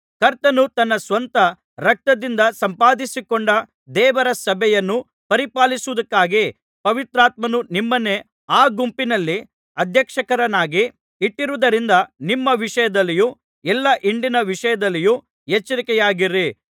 ಕರ್ತನು ತನ್ನ ಸ್ವಂತ ರಕ್ತದಿಂದ ಸಂಪಾದಿಸಿಕೊಂಡ ದೇವರ ಸಭೆಯನ್ನು ಪರಿಪಾಲಿಸುವುದಕ್ಕಾಗಿ ಪವಿತ್ರಾತ್ಮನು ನಿಮ್ಮನ್ನೇ ಆ ಗುಂಪಿನಲ್ಲಿ ಅಧ್ಯಕ್ಷರನ್ನಾಗಿ ಇಟ್ಟಿರುವುದರಿಂದ ನಿಮ್ಮ ವಿಷಯದಲ್ಲಿಯೂ ಎಲ್ಲಾ ಹಿಂಡಿನ ವಿಷಯದಲ್ಲಿಯೂ ಎಚ್ಚರಿಕೆಯಾಗಿರಿ